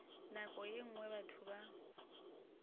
nako ye nngwe batho ba